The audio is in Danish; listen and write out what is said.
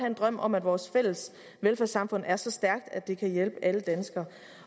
en drøm om at vores fælles velfærdssamfund er så stærkt at det kan hjælpe alle danskere